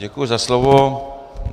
Děkuji za slovo.